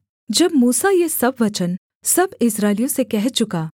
जब मूसा ये सब वचन सब इस्राएलियों से कह चुका